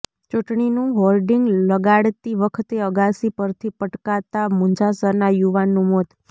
ચૂંટણીનું હોર્ડિંગ લગાડતી વખતે અગાસી પરથી પટકાતાં મુંજાસરના યુવાનનું મોત